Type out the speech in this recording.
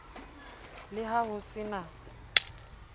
le ha ho se na